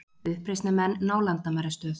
Uppreisnarmenn ná landamærastöð